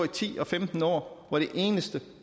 ti og femten år hvor det eneste